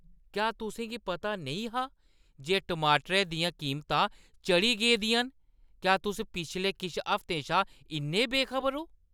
क्या तुसें गी पता नेईं हा जे टमाटरै दियां कीमतां चढ़ी गेदियां न? क्या तुस पिछले किश हफ्तें शा इन्ने बेखबर ओ?